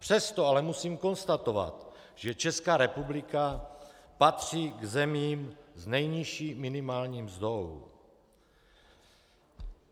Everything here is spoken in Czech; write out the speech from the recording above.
Přesto ale musím konstatovat, že Česká republika patří k zemím s nejnižší minimální mzdou.